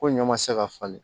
Ko ɲɔ ma se ka falen